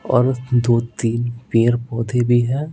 और दो-तीन पेड़ पौधे भी हैं।